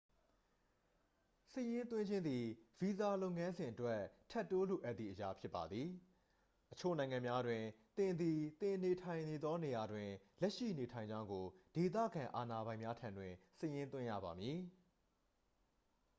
စာရင်းသွင်းခြင်းသည် ဗီဇာလုပ်ငန်းစဉ်အတွက် ထပ်တိုးလိုအပ်သည့်အရာဖြစ်ပါသည် အချို့နိုင်ငံများတွင် သင်သည် သင်နေထိုင်နေသောနေရာတွင် လက်ရှိနေထိုင်ကြောင်းကို ဒေသခံအာဏာပိုင်များထံတွင် စာရင်းသွင်းရပါမည်